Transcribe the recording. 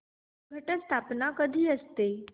घट स्थापना कधी असते